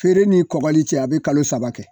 Feere ni kɔgɔli cɛ a be kalo saba kɛ.